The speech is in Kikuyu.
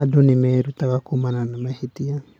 Andũ nĩ merutaga kuumana na mahĩtia.